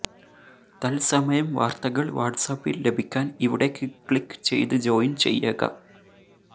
തൽസമയം വാർത്തകൾ വാട്സ്ആപ്പിൽ ലഭിക്കാൻ ഇവിടെ ക്ലിക് ചെയ്ത് ജോയിൻ ചെയ്യക